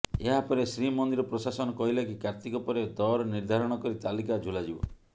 ଏହାପରେ ଶ୍ରୀମନ୍ଦିର ପ୍ରଶାସନ କହିଲା କି କାର୍ତ୍ତିକ ପରେ ଦର ନିର୍ଦ୍ଧାରଣ କରି ତାଲିକା ଝୁଲାଯିବ